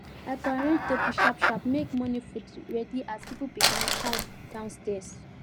i go arrange table sharp sharp make morning food ready as people begin come downstaird